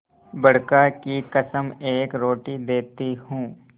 बड़का की कसम एक रोटी देती हूँ